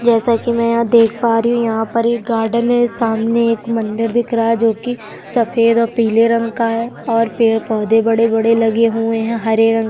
जैसा कि मैं यहाँ देख पा रही हूँ यहाँ पर एक गार्डन है सामने एक मंदिर दिख रहा है जो कि सफेद और पीले रंग का है और पेड़-पौधे बड़े-बड़े लगे हुए हैं हरे रंग --